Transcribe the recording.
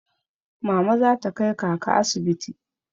Mama za ta kai kaka asibiti.